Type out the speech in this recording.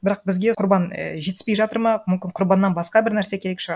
бірақ бізге құрбан і жетіспей жатыр ма мүмкін құрбаннан басқа бір нәрсе керек шығар